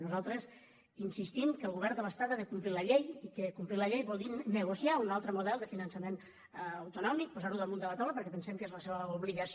nosaltres insistim que el govern de l’estat ha de complir la llei i que complir la llei vol dir negociar un altre model de finançament auto·nòmic posar·ho damunt de la taula perquè pensem que és la seva obligació